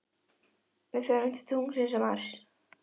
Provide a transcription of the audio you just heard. Við förum til tunglsins og Mars.